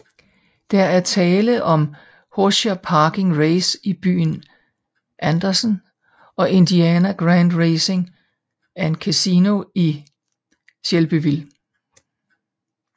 Der er tale om Hoosier Park Racing i byen Andersen og Indiana Grand Racing and Casino i Shelbyville